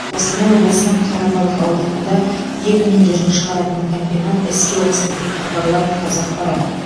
қостанай облысының қарабалық ауданында ет өнімдерін шығаратын комбинат іске қосылды деп хабарлайды қазақпарат